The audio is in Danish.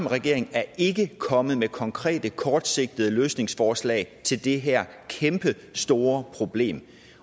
regeringen er ikke kommet med konkrete kortsigtede løsningsforslag til det her kæmpestore problem